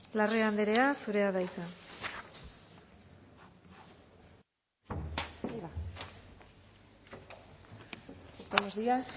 larrea andrea zurea da hitza buenos días